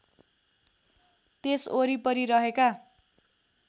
त्यस वरिपरि रहेका